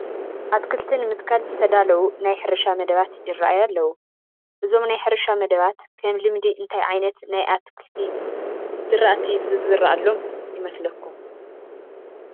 ኣትክልቲ ንምትካል ዝተዳለዉ ናይ ሕርሻ መደባት ይርአዩ ኣለዉ፡፡ እዞም ናይ ሕርሻ መደባት ከም ልምዲ እንታይ ዓይነት ናይ ኣትክልቲ ዝርአቲ ዝዝርኣሎም ይመስለኹም?